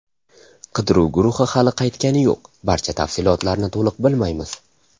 Qidiruv guruhi hali qaytgani yo‘q, barcha tafsilotlarni to‘liq bilmaymiz.